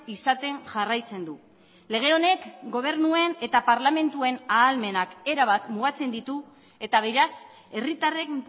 izaten jarraitzen du lege honek gobernuen eta parlamentuen ahalmenak erabat mugatzen ditu eta beraz herritarren